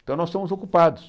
Então, nós somos ocupados.